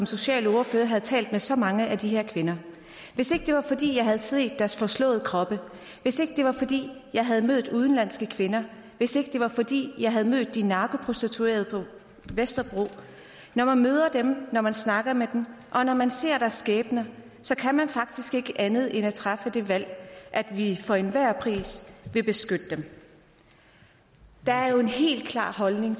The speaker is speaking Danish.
socialordfører havde talt med så mange af de her kvinder hvis ikke det var fordi jeg havde se deres forslåede kroppe hvis ikke det var fordi jeg havde mødt de udenlandske kvinder hvis ikke det var fordi jeg havde mødt de narkoprostituerede på vesterbro når man møder dem når man snakker med dem og når man ser deres skæbner så kan man faktisk ikke andet end at træffe det valg at vi for enhver pris vil beskytte dem der er jo en helt klar holdning